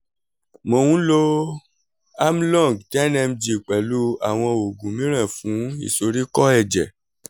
mo ń lo amlong ten mg pẹ̀lú àwọn oògùn mìíràn fún ìsoríkó ẹ̀jẹ̀